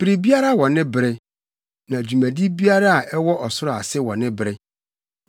Biribiara wɔ ne bere, na dwumadi biara a ɛwɔ ɔsoro ase wɔ ne bere.